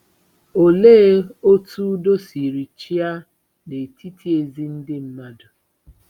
Olee otú udo sirila chịa n'etiti ezi Ndị mmadụ?